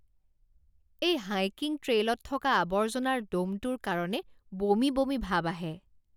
এই হাইকিং ট্ৰেইলত থকা আৱৰ্জনাৰ দমটোৰ কাৰণে বমি বমি ভাব আহে।